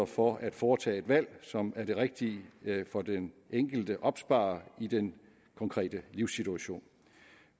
for at foretage et valg som er det rigtige for den enkelte opsparer i den konkrete livssituation